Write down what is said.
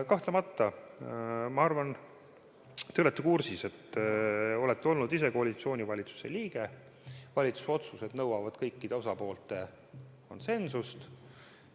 Kahtlemata, ma arvan, te olete kursis , et valitsuse otsused nõuavad kõikide osapoolte konsensust.